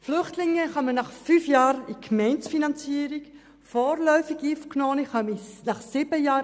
Die Flüchtlinge kommen nach fünf Jahren in die Gemeindefinanzierung und vorläufig Aufgenommene nach sieben Jahren.